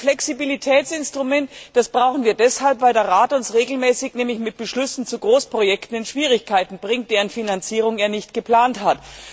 Zum Flexibilitätsinstrument Das brauchen wir deshalb, weil der Rat uns regelmäßig mit Beschlüssen zu Großprojekten in Schwierigkeiten bringt, deren Finanzierung er nicht geplant hat.